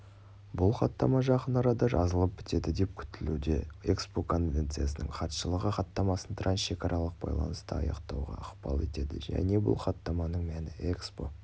бұл хаттама жақын арада жазылып бітеді деп күтілуде экспо конвенциясының хатшылығы хаттамасын трансшекаралық байланыста аяқтауға ықпал етеді және бұл хаттаманың мәні экспо